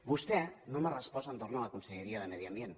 vostè no m’ha respost entorn de la conselleria de medi ambient